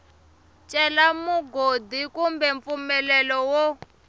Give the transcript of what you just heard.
cela mugodi kumbe mpfumelelo wo